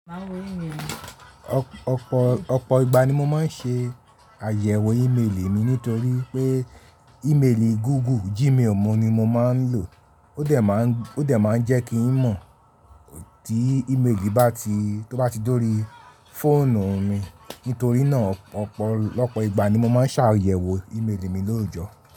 Ọ̀pọ̀ ìgbà ni mo máa ń ṣe àyẹ̀wò ímelì mi nítorí pé ímelì Google Gmail mo ni mo máa ń lò. Ó dẹ̀ máa ń jẹ́ kí ń mọ̀ tí ímelì bá ti tó bá ti dóri fóònù mi. Nítorí náà lọ́pọ̀ ìgbà ni mo máa ń ṣàyẹ̀wò ímelì mi lóòjọ́.